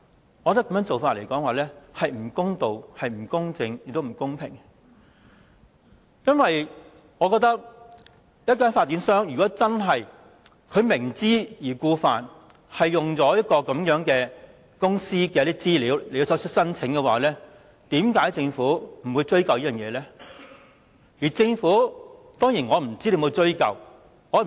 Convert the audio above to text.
我覺得這做法並不公道、不公正，亦不公平，因為我覺得發展商如果明知故犯，採用這些資料作出申請的話，為甚麼政府不予追究？